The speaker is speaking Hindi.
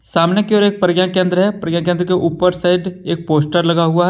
सामने की ओर एक प्रज्ञाकेंद्र है प्रज्ञाकेंद्र के ऊपर साइड एक पोस्टर लगा हुआ है।